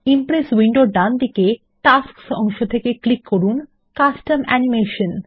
Impress উইন্ডোর ডান দিকে টাস্কস অংশে ক্লিক করুন কাস্টম অ্যানিমেশন